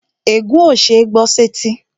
Ègún ó ṣeé gbọ́ sẹ́tí